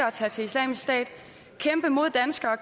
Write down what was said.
islamisk stat og kæmpe imod danskere og